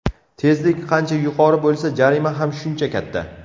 Tezlik qancha yuqori bo‘lsa, jarima ham shuncha katta.